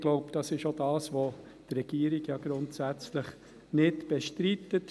Ich glaube, das ist auch, was die Regierung grundsätzlich nicht bestreitet.